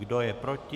Kdo je proti?